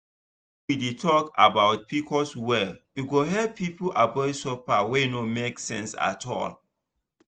if we dey talk about pcos well e go help people avoid suffer wey no make sense at all.